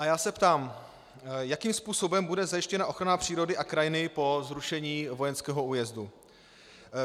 A já se ptám, jakým způsobem bude zajištěna ochrana přírody a krajiny po zrušení vojenského újezdu?